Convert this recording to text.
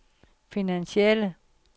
finansielle